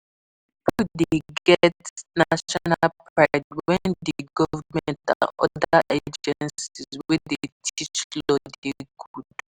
Pipo de get national pride when di government and other againcies wey de teach law de good